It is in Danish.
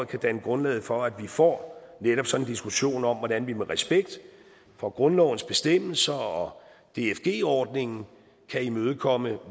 kan danne grundlaget for at vi får netop sådan en diskussion om hvordan vi med respekt for grundlovens bestemmelser og dfg ordningen kan imødekomme